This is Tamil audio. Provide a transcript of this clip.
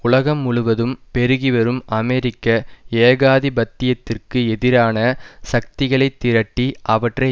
உலகம் முழுவதும் பெருகிவரும் அமெரிக்க ஏகாதிபத்தியத்திற்கு எதிரான சக்திகளைத் திரட்டி அவற்றை